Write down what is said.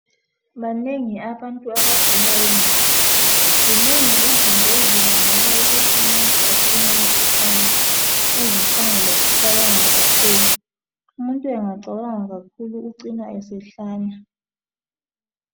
Banengi abantu abagula ingqondo zinengi izinto ezibangela ukuthi umuntu acine esehlanya ezifana lokucabanga kakhulu. Umuntu angacabanga kakhulu ucina esehlanya.